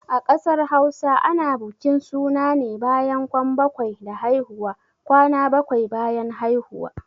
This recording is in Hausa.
A ƙasar Hausa ana bukin suna ne bayan kwan bakwai da haihuwa. kwana bakwai bayan haihuwa